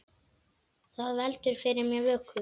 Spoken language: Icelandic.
Það heldur fyrir mér vöku.